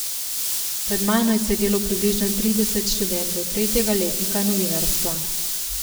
Pred mano je sedelo približno trideset študentov tretjega letnika novinarstva.